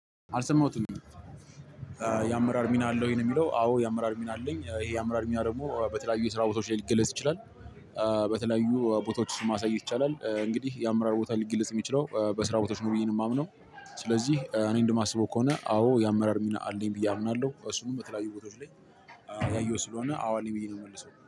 አልሰማሁትም። የአመራር ሚና አለ ወይ ነው? የሚለው አዎ የአመራር ሚና አለኝ ይሄ የአመራር ሚና ደግሞ በተለያዩ የስራ ቦታዎች ላይ ሊገለጽ ይችላል። በተለያዩ ቦታዎች ማሳየት ይቻላል እንግዲህ የአመራር ቦታ ሊግለጽ የሚችለው በስራ ቦታዎች ነው ብዬ ነው ማምነው። ስለዚህ እኔ እንደማስበው ከሆነ አዎ የአመራር ሚና አለኝ ብዬ አምናለው እሱንም በተለያዩ ቦታዎች ላይ። ያየሁት ስለሆነ አው አለኝ ብዬ ነው ምመልሰው